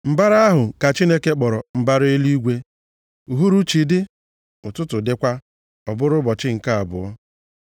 Mbara ahụ ka Chineke kpọrọ mbara eluigwe. Uhuruchi dị, ụtụtụ dịkwa. Ọ bụrụ ụbọchị nke abụọ.